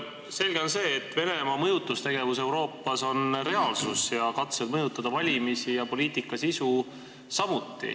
Selge on see, et Venemaa mõjutustegevus Euroopas on reaalsus, samuti katsed mõjutada valimisi ja poliitika sisu.